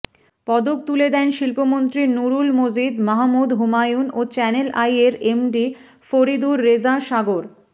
পদক তুলে দেন শিল্পমন্ত্রী নূরুল মজিদ মাহমুদ হুমায়ূন ও চ্যানেল আইয়ের এমডি ফরিদুর রেজা সাগর